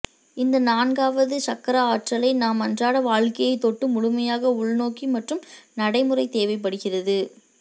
இந்த நான்காவது சக்ரா ஆற்றலை நம் அன்றாட வாழ்க்கையைத் தொட்டு முழுமையாக உள்நோக்கி மற்றும் நடைமுறை தேவைப்படுகிறது